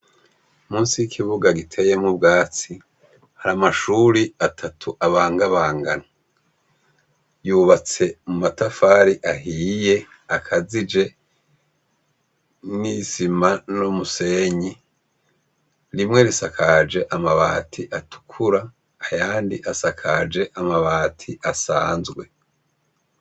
Musi y'ikibuga giteyemwo ubwatsi hari amashuri atatu abangabangana yubatse mu matafari ahiye akazije n'isima no musenyi rimwe risakaje amabati atukura ayandi asaka kaje amabati asanzwe.